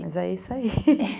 Mas é isso aí.